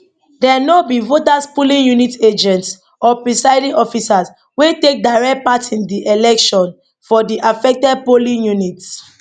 dem no be voters polling unit agents or presiding officers wey take direct part in di election for di affected polling units